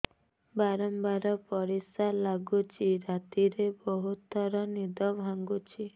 ବାରମ୍ବାର ପରିଶ୍ରା ଲାଗୁଚି ରାତିରେ ବହୁତ ଥର ନିଦ ଭାଙ୍ଗୁଛି